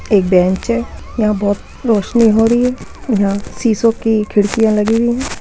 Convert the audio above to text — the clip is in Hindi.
एक बेंच है यहाँ बोहोत रोशनी हो रही है | यहाँ शीशों कि खिड़कियाँ लगी हुई हैं ।